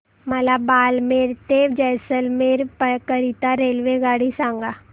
मला बारमेर ते जैसलमेर करीता रेल्वेगाडी सांगा